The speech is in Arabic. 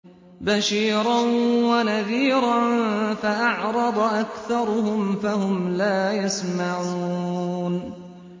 بَشِيرًا وَنَذِيرًا فَأَعْرَضَ أَكْثَرُهُمْ فَهُمْ لَا يَسْمَعُونَ